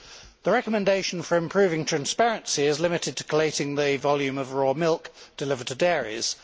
The recommendation for improving transparency is limited to collating the volume of raw milk delivered to dairies.